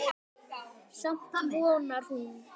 Samt vonar hún.